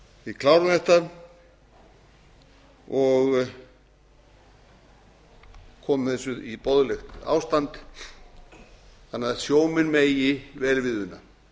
við klárum þetta og komum þessu í boðlegt ástand þannig að sjómenn megi vel við una